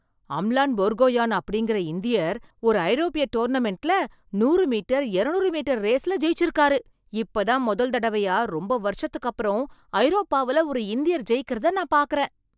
அமலான் போர்கோஹேன் அப்படிங்கிற இந்தியர் ஒரு ஐரோப்பிய டோர்னமென்ட்ல நூறு மீட்டர், இருநூறு மீட்டர் ரேஸ்ல ஜெயிச்சிருக்காரு. இப்ப தான் முதல் தடவையா ரொம்ப வருஷத்துக்கு அப்புறம் ஐரோப்பாவுல ஒரு இந்தியார் ஜெயிக்கிறத நான் பார்க்கிறேன்.